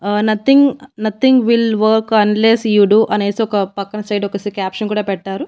ఆ nothing nothing will work unless you do అనేసి ఒక పక్కన సైడు ఒక క్యాప్షన్ కూడా పెట్టారు.